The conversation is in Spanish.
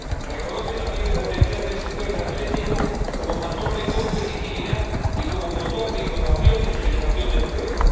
reconoce también el potencial del sector energético como factor de competitividad y como motor de innovación y de generación de empleo.